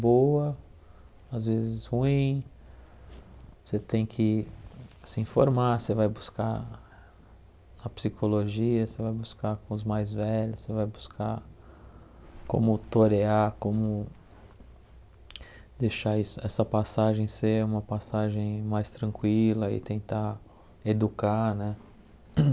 boa, às vezes ruim, você tem que se informar, você vai buscar a psicologia, você vai buscar com os mais velhos, você vai buscar como torear, como deixar esse essa passagem ser uma passagem mais tranquila e tentar educar, né?